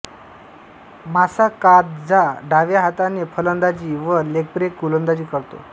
Masakadza डाव्या हाताने फलंदाजी व लेगब्रेक गोलंदाजी करतो